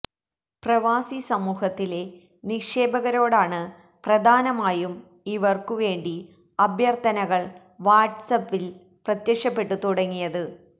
പ്രവാസി സമൂഹത്തിലെ നിക്ഷേപകരോടാണ് പ്രധാനമായും ഇവര്ക്കു വേണ്ടി അഭ്യര്ത്ഥനകള് വാട്സാപില് പ്രത്യക്ഷപ്പെട്ടു തുടങ്ങിയത്